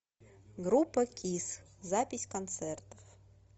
группа кисс запись концертов